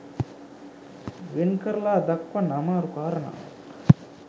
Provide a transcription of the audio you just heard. වෙන් කරලා දක්වන්න අමාරු කාරණාවක්